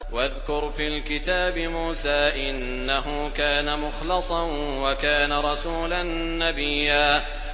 وَاذْكُرْ فِي الْكِتَابِ مُوسَىٰ ۚ إِنَّهُ كَانَ مُخْلَصًا وَكَانَ رَسُولًا نَّبِيًّا